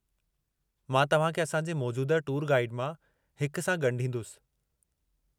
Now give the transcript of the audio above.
मां तव्हां खे असांजे मौजूदह टूर गाईड मां हिक सां ॻंढींदुसि।